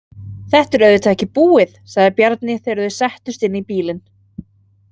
Þetta er auðvitað ekki búið, sagði Bjarni þegar þau settust inn í bílinn.